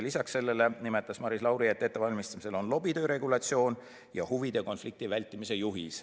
Peale selle nimetas Maris Lauri, et ettevalmistamisel on lobitöö regulatsioon ja huvide konflikti vältimise juhis.